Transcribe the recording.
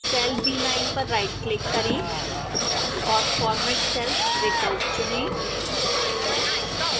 cell b9 पर rightclick करें और format cells विकल्प चुनें